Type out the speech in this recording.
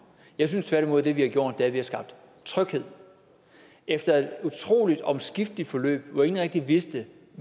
jeg synes tværtimod at det vi har gjort er at vi har skabt tryghed efter et utrolig omskifteligt forløb hvor ingen rigtig vidste